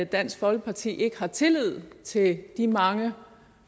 dansk folkeparti ikke har tillid til de mange